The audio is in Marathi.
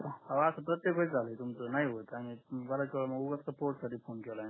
अहो आस प्रत्येक वेळिस झाल तुमच नाही होत फोन केलाय मी